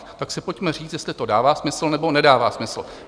Tak si pojďme říct, jestli to dává smysl, nebo nedává smysl.